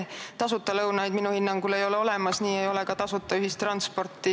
Tasuta lõunaid minu hinnangul ei ole olemas, nii ei ole ka tasuta ühistransporti.